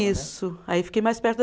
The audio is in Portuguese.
Isso, aí fiquei mais perto.